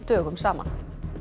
dögum saman